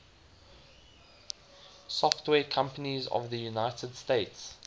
software companies of the united states